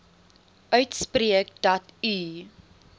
uitspreek dat u